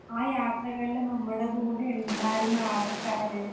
ആ യാത്രകളില് നമ്മുടെ കൂടെ ഉണ്ടായിരുന്ന ആള്ക്കാര്